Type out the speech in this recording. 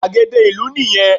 Gbàgede ìlú nì yẹn